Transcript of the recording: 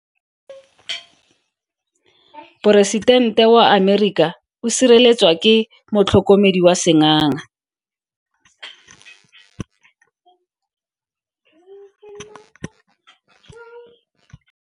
Poresitente wa Amerika o sireletswa ke motlhokomedi wa sengaga.